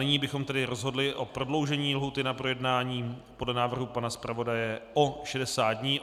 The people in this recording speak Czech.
Nyní bychom tedy rozhodli o prodloužení lhůty na projednání podle návrhu pana zpravodaje o 60 dní.